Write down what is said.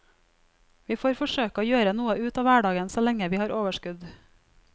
Vi får forsøke å gjøre noe ut av hverdagen så lenge vi har overskudd.